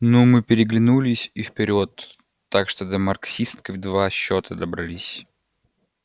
ну мы переглянулись и вперёд так что до марксистской в два счёта добрались